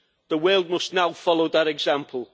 The world must now follow that example.